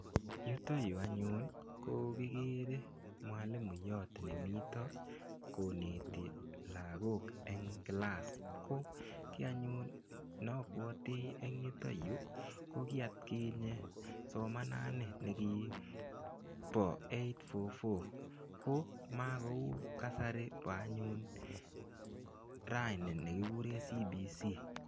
Yutoyu anyun ko kikere mwalimuiyot nemito koneti lakok eng' kilas ko kii anyun napwoti eng' yutoyu ko kiatkinye somanani nekibo 8-4-4 ko makou kasari bo anyun rani nekikure CBC